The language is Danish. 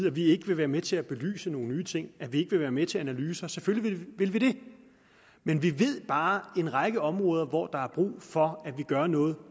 at vi ikke vil være med til at belyse nogle nye ting at vi ikke vil være med til analyser selvfølgelig vil vi det men vi ved bare at en række områder hvor der er brug for at vi gør noget